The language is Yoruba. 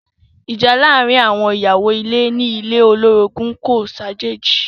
Ìjà láàárín àwọn ìyàwó ilé ní ilé olorogun kò ṣàjèjì.